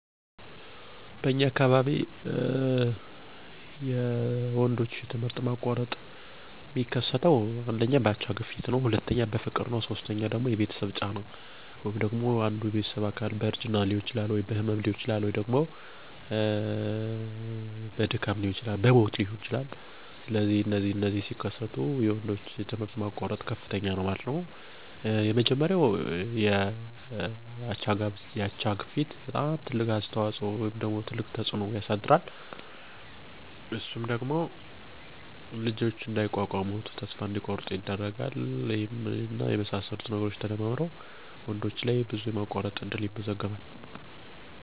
በአካባቢየ የወንዶች ትምህርት ማቋረጥ የሚከሰተዉ በአብዛኛዉ የአቻ ግፊት ተጽኖ ነዉ ይህም ለተለያዩ ሱስ መጠመድ፣ ያለእድሜ ፍቅረኛመያዝ፣ ሲሆን በከፊል የቤተሰብ ሀላፊነት መቀበል እንደሁለተኛምክንያት ነው።